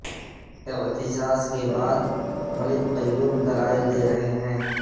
اعتزاز کے بعد ملک قیوم دلائل دے رہے ہیں